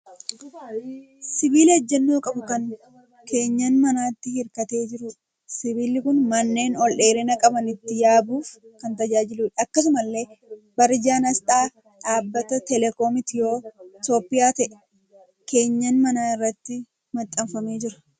Sibiila ejjennoo qabu kan keenyan manaatti hirkatee jiruudha. Sibiilli kun manneen ol dheerina qaban ittin yaabuuf kan tajaajiluudha. Akkasumallee barjaan asxaa dhaabbata 'Telecom' Itiyoopiyaa ta'e keenyan manaa irratti maxxanee jira.